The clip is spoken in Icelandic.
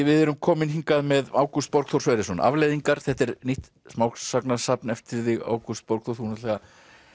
við erum komin hingað með Ágúst Borgþór Sverrisson afleiðingar þetta er nýtt smásagnasafn eftir þig Ágúst Borgþór þú náttúrulega